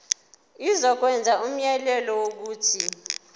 izokwenza umyalelo wokuthi